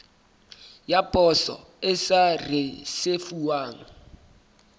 ya poso e sa risefuwang